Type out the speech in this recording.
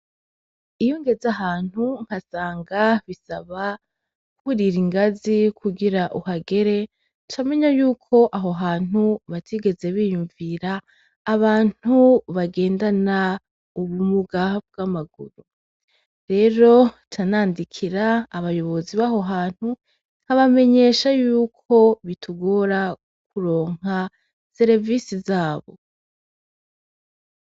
Iyo ngeze ahantu nkasanga bisaba kwurira ingazi kugira uhagere, camenya yuko aho hantu batigeze biyumvira abantu bagendana ubumuga bw’amaguru. Rero ca nandikira abayobozi baho hantu nkabamenyesha yuko bitugora kuronka serevise zabo.